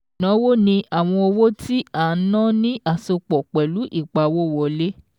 Ìnáwó ni àwọn owó tí a ná ní àsopọ̀ pẹ̀lú ìpawówọlé.